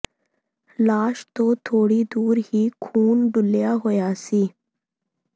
ਲਾਸ਼ ਤੋਂ ਥੋੜ੍ਹੀ ਦੂਰ ਹੀ ਖ਼ੂਨ ਡੁੱਲ੍ਹਿਆ ਹੋਇਆ ਸੀ